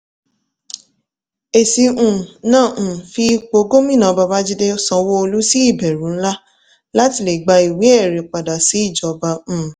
èsì um náà um fi ìpò gómìnà babájídé sanwó-olú sí ìbẹ̀rù ńlá láti lè gba ìwé ẹ̀rí padà sílé ìjọba. um